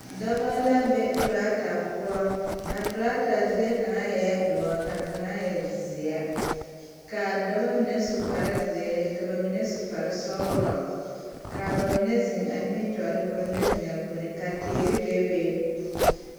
Dɔbɔ la be torata poɔ a torata zie kaŋa eɛ doɔ ka kaŋa e zeɛ ka a daba mine su kpare zeere ka ba mine su kpare sɔglɔ ka ba mine zeŋ a nimitɔɔre ka ba mine zeŋ a puoriŋ ka teere bebe.